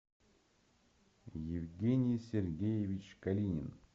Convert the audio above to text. евгений сергеевич калинин